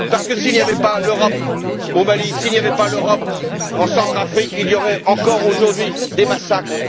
Parce que s'il n'y avait pas l'Europe au Mali, s'il n'y avait pas l'Europe en Centrafrique, il y aurait encore aujourd'hui des massacres.